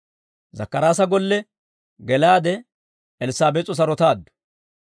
Zakkaraasa golle gelaade Elssaabees'o sarotaaddu.